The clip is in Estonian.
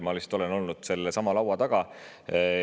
Ma lihtsalt olen olnud sellesama laua taga.